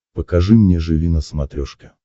покажи мне живи на смотрешке